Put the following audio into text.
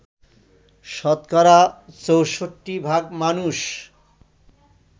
শতকরা ৬৪ ভাগ মানুষ